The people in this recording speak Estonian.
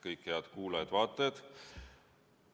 Kõik head kuulajad-vaatajad!